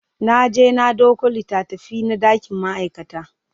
Naje na ɗauko littafina dakin ma'aikata